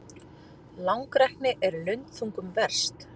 Langrækni er lundþungum verst.